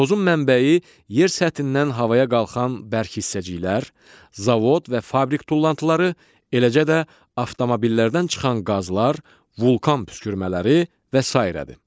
Tozun mənbəyi yer səthindən havaya qalxan bərk hissəciklər, zavod və fabrik tullantıları, eləcə də avtomobillərdən çıxan qazlar, vulkan püskürmələri və sairədir.